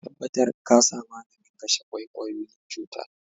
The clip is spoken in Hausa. Ka tabatar ka sa maganin kashe kwaikwayoyin cuta.